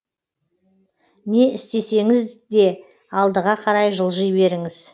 не істесеңізде алдыға қарай жылжи беріңіз